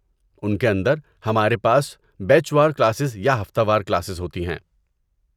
ان کے اندر، ہمارے پاس بیچ وار کلاسز یا ہفتہ وار کلاسز ہوتی ہیں۔